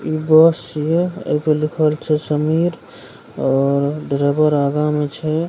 इ बस छिये एपर लिखल छै समीर और ड्राइवर अगा में छै।